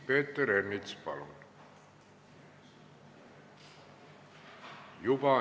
Peeter Ernits, palun!